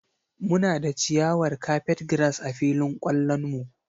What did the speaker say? Muna da ciyawar Carpetgrass a filin kwallon mu.